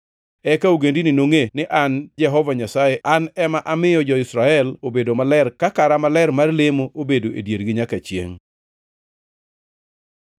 Eka ogendini nongʼe ni an Jehova Nyasaye ema amiyo jo-Israel obedo maler ka kara maler mar lemo obedo e diergi nyaka chiengʼ.’ ”